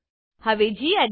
હવે ગેડિટ